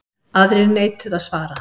Aðrir neituðu að svara.